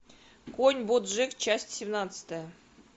конь боджек часть семнадцатая